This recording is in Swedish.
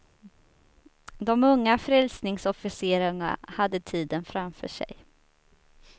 De unga frälsningsofficerarna hade tiden framför sig.